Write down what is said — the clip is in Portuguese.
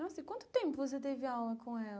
Nossa, e quanto tempo você teve aula com ela?